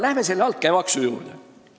Läheme sellesama altkäemaksu juurde.